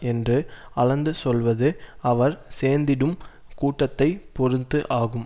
என்று அளந்து சொல்வது அவர் சேர்ந்திடும் கூட்டத்தை பொருத்து ஆகும்